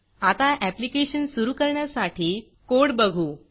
आता ऍप्लीकेशन सुरू करण्यासाठी कोड बघू